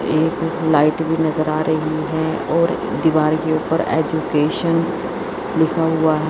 एक लाइट भी नजर आ रही है और दीवार के ऊपर एजुकेशन लिखा हुआ है।